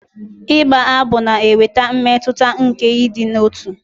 Ịgba abụ na-eweta mmetụta nke ịdị n'otu.